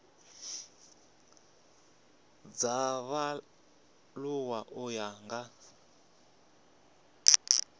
dza vhaaluwa u ya nga